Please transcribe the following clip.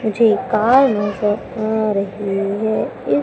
मुझे एक कार नजर आ रही है। इस--